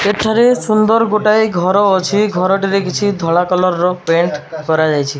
ଏଠାରେ ସୁନ୍ଦର ଗୋଟାଏ ଘର ଅଛି। ଘରଟିରେ କିଛି ଧଳା କଲର ର ପେଣ୍ଟ କରାଯାଇଛି।